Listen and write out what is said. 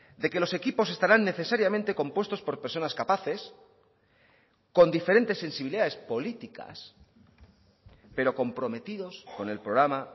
de que los equipos estarán necesariamente compuestos por personas capaces con diferentes sensibilidades políticas pero comprometidos con el programa